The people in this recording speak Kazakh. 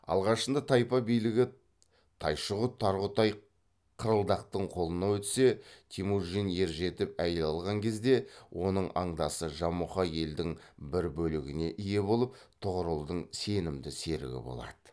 алғашында тайпа билігі тайшығұт тарғұтай қырылдақтың қолына өтсе темужін ержетіп әйел алған кезде оның андасы жамұха елдің бір бөлігіне ие болып тұғырылдың сенімді серігі болады